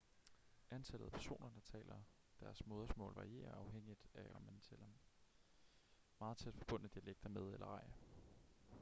antallet af personer der taler deres modersmål varierer afhængigt af om man tæller meget tæt forbundne dialekter med eller ej